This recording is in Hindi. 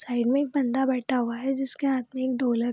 साइड मे एक बंदा बैठा हुआ है जिस के हाथ में एक ढोलक --